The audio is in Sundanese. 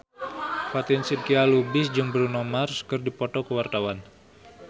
Fatin Shidqia Lubis jeung Bruno Mars keur dipoto ku wartawan